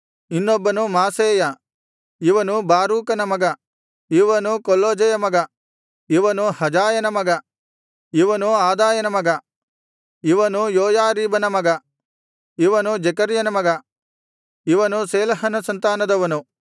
ಇನ್ನೊಬ್ಬನು ಮಾಸೇಯ ಇವನು ಬಾರೂಕನ ಮಗ ಇವನು ಕೊಲ್ಹೋಜೆಯ ಮಗ ಇವನು ಹಜಾಯನ ಮಗ ಇವನು ಅದಾಯನ ಮಗ ಇವನು ಯೋಯಾರೀಬನ ಮಗ ಇವನು ಜೆಕರ್ಯನ ಮಗ ಇವನು ಶೇಲಹನ ಸಂತಾನದವನು